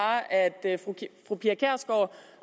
at fru pia kjærsgaard